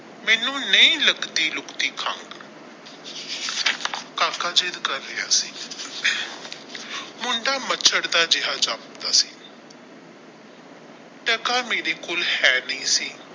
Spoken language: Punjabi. ਮੈਨੂੰ ਨਹੀ ਲੱਗਦੀ ਲੁਗਦੀ ਕਾਕਾ ਜਿੱਦ ਕਰ ਰਹਿਆ ਸੀ ਮੁੰਡਾ ਮਚਾੜ ਦਾ ਜਿਹਾ ਜਾਪਦਾ ਸੀ ਟਕਾ ਮੇਰੇ ਕੋਲ ਹੈ ਨਹੀਂ ਸੀ।